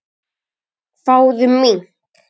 Fáðu mink.